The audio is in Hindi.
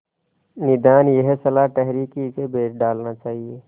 निदान यह सलाह ठहरी कि इसे बेच डालना चाहिए